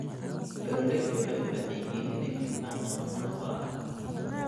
Beeraleydu waxay u baahan yihiin inay fahmaan dhaqamada waara.